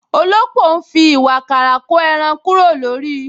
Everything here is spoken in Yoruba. Òlópò ń fi ìwààkàrà ko ẹran kúrò lórí